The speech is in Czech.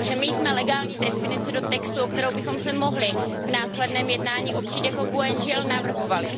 Protože my jsme legální definici do textu, o kterou bychom se mohli v následném jednání opřít, jako GUE NGL navrhovali.